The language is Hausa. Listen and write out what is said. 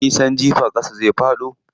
Ko min nisan jifa ƙasa zai faɗo.